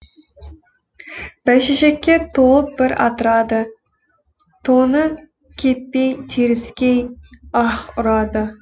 бәйшешекке толып бір атырады тоңы кеппей теріскей аһ ұрады